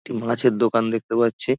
একটি মাছের দোকান দেখতে পাচ্ছি।